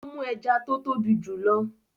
Ó mú ẹja tó tóbi jù lọ.